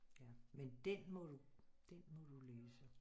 Men den må du den må du læse